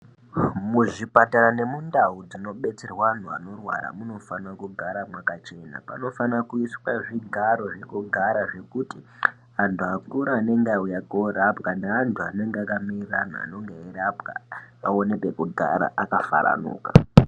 Muzvipatara nekundawu dzinobetserwa vandu vanorwara munofana kugara makachena panofana kuiswa zvigaro zvokugara zvokuti andu akura ane ndawu yako orapwa neandu anenge akamirira anhu eyirapa awone pekugara akafaranuka.